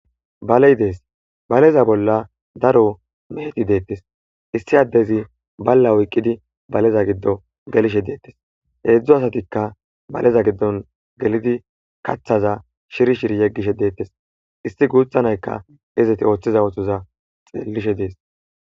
Baley dees baleza bolla daro meheti deettes issi addezi balla woyqqidi baleza giddo gelishe deettes heedzdzo asatikka baleza giddon gelidi kathaza shiri shiri yeggishe deettes issi guuthanaykka izeti ooththiza ootoza xeellishe dees.